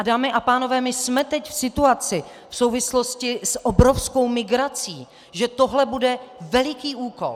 A dámy a pánové, my jsme teď v situaci v souvislosti s obrovskou migrací, že tohle bude veliký úkol.